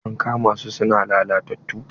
An kama su su na lalatattu.